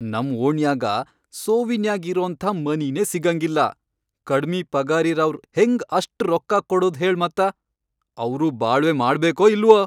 ನಂ ಓಣ್ಯಾಗ ಸೋವಿನ್ಯಾಗ್ ಇರೋಂಥ ಮನೀನೇ ಸಿಗಂಗಿಲ್ಲಾ, ಕಡ್ಮಿ ಪಗಾರಿರವ್ರ್ ಹೆಂಗ್ ಅಷ್ಟ್ ರೊಕ್ಕ ಕೊಡೂದ್ ಹೇಳ್ ಮತ್ತ. ಅವ್ರೂ ಬಾಳ್ವೆ ಮಾಡ್ಬೇಕೋ ಇಲ್ವೋ!